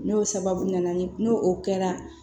N'o sababu nana ni n'o o kɛra